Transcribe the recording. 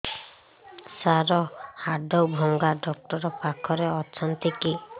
ସାର ହାଡଭଙ୍ଗା ଡକ୍ଟର ପାଖରେ ଅଛନ୍ତି କି